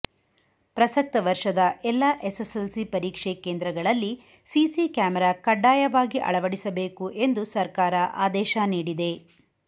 ಪ್ರಸಕ್ತ ವರ್ಷದ ಎಲ್ಲ ಎಸ್ಸೆಸ್ಸೆಲ್ಸಿ ಪರೀಕ್ಷೆ ಕೇಂದ್ರಗಳಲ್ಲಿ ಸಿಸಿ ಕ್ಯಾಮರಾ ಕಡ್ಡಾಯವಾಗಿ ಅಳವಡಿಸಬೇಕು ಎಂದು ಸರ್ಕಾರ ಆದೇಶ ನೀಡಿದೆ